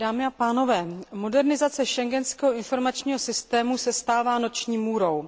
Dámy a pánové, modernizace Schengenského informačního systému se stává noční můrou.